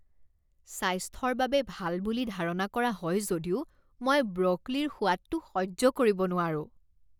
স্বাস্থ্যৰ বাবে ভাল বুলি ধাৰণা কৰা হয় যদিও মই ব্ৰ'কলিৰ সোৱাদটো সহ্য কৰিব নোৱাৰোঁ।